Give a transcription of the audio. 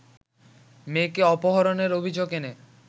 মেয়েকে অপহরণের অভিযোগ এনে